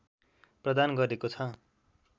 प्रदान गरेको छ